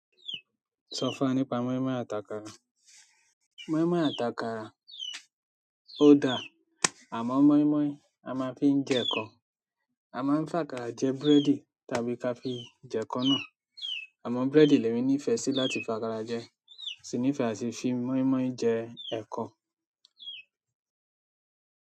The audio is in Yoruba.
Sọ fún nípa mọimọi àti àkàrà. Mọimọi àti àkàrà oda amọ mọimọi a máa fí ń jẹ ẹkọ. A máa ń fàkàra jẹ búrẹ́dì tàbí kàfi jẹ ẹ̀kọ náà. Àmọ́ búrẹ́dì lẹ̀mi ní ìfẹ́ sì láti fàkàra jẹ, mo sì ní ìfẹ́ àti fi mọ́ímọ́í jẹ ẹ̀kọ.